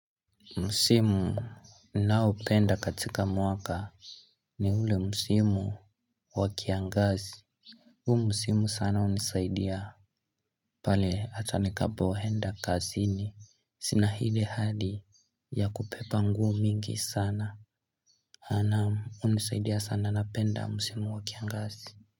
Msimu naoupenda katika mwaka ni ule msimu wa kiangazi. Huu msimu sana unisaidia. Pale atanikapohenda kazini sina hile hali ya kupepa nguo mingi sana. A naam hunisaidia sana napenda msimu wa kiangazi.